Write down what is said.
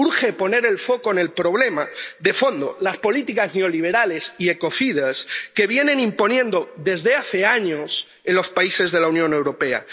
Urge poner el foco en el problema de fondo las políticas neoliberales y ecocidas que se vienen imponiendo desde hace años en los países de la Unión Europea.